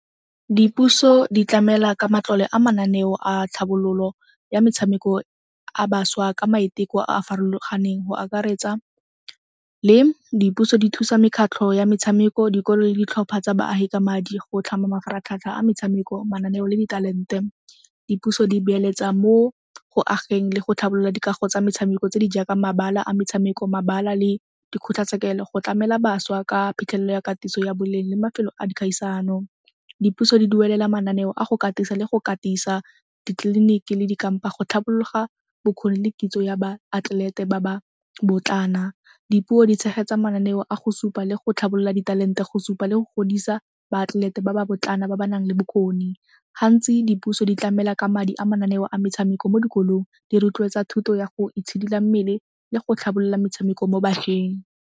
Dipuso di tlamela ka matlole a mananeo a tlhabololo ya metshameko a bašwa ka maiteko a a farologaneng go akaretsa le dipuso di thusa mekgatlho ya metshameko, dikolo le ditlhopha tsa baagi ka madi. Go tlhama mafaratlhatlha a metshameko, mananeo le di talent-e, dipuso di beeletsa mo go ageng le go tlhabolola dikago tsa metshameko tse di jaaka mabala a metshameko, mabala le dikgotlatshekelo go tlamela bašwa ka phitlhelelo ya katiso ya boleng le mafelo a kgaisano. Dipuso di duelela mananeo a go katisa le go katisa ditleliniki le dikampa go tlhapologa bokgoni le kitso ya baatlelete ba ba . Dipuo di tshegetsa mananeo a go supa le go tlhabolola di-talent-e go supa le go godisa baatlelete ba ba ba ba nang le bokgoni. Gantsi dipuso di tlamela ka madi a mananeo a metshameko mo dikolong, di rotloetsa thuto ya go itshidila mmele le go tlhabolola metshameko mo bašweng.